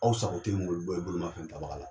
Aw sago tɛ bolimafɛn tabaga la.